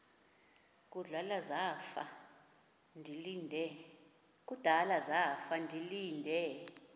kudala zafa ndilinde